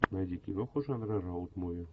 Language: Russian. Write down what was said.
найди киноху жанра роуд муви